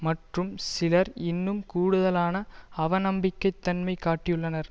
மற்றும் சிலர் இன்னும் கூடுதலான அவநம்பிக்கைத்தன்மை காட்டியுள்ளனர்